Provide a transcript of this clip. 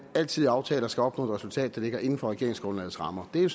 altid i aftaler skal nå et resultat der ligger inden for regeringsgrundlagets rammer det er